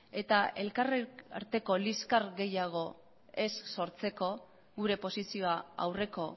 eta elkar arteko liskar gehiago ez sortzeko gure posizioa aurreko